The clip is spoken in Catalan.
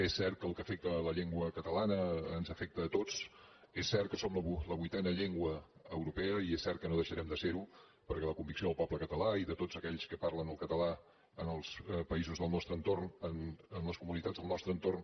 és cert que el que afecta la llengua catalana ens afecta a tots és cert que som la vuitena llengua europea i és cert que no deixarem de ser ho perquè la convicció del poble català i de tots aquells que parlen el català en els països del nostre entorn en les comunitats del nostre entorn